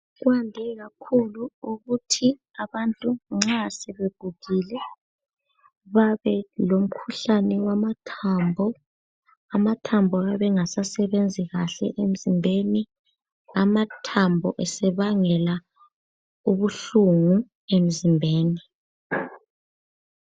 Kwande kakhulu ukuthi abantu nxa sebegugile babelomkhuhlane wamathambo. Amathambo ayabe engasasebenzi kahle emzimbeni. Amathambo esebangela ubuhlungu emzimbeni.